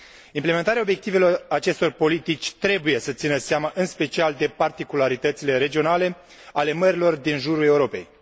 Implementarea obiectivelor acestor politici trebuie să țină seama în special de particularitățile regionale ale mărilor din jurul Europei.